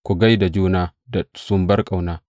Ku gai da juna da sumbar ƙauna.